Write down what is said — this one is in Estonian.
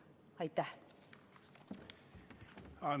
Aitäh!